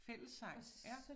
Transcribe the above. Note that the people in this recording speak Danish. Fællessang ja